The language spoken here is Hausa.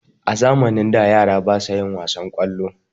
a zamanin baya yara basa yin wasan kwallo